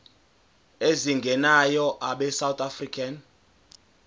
ezingenayo abesouth african